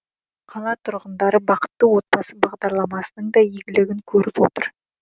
қала тұрғындары бақытты отбасы бағдарламасының да игілігін көріп отыр